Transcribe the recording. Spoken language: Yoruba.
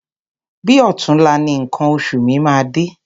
Bi ọ̀túnla ni nǹkan oṣù mi máa dé.